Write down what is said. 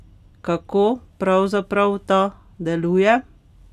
Kako pravzaprav ta deluje?